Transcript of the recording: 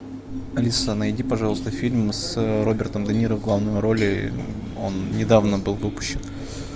алиса найди пожалуйста фильм с робертом де ниро в главной роли он недавно был выпущен